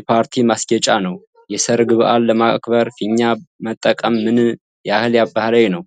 የፓርቲ ማስጌጫ ነው። የሠርግ በዓል ለማክበር ፊኛ መጠቀም ምን ያህል ባህላዊ ነው?